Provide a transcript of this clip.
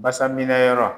Basa minɛ yɔrɔ